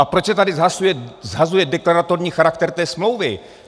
A proč se tady shazuje deklaratorní charakter té smlouvy?